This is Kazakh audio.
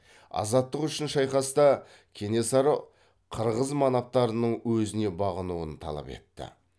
азаттық үшін шайқаста кенесары қырғыз манаптарының өзіне бағынуын талап етті